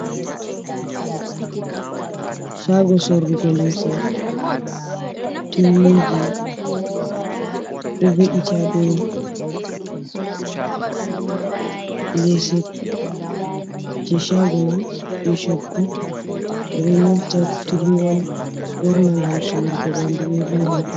Shago sorrugo limse, turmiji ɗo ve'iti hadow leese jai shago man je coggu, ɓeɗo nyauta turmi on ɓorna ngam surugo ɓandu bebo ngam paune.